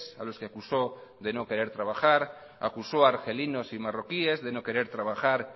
a los que acusó de cono querer trabajar acusó a argelinos y marroquíes de no querer trabajar